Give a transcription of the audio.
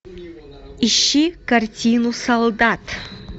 ищи картину солдат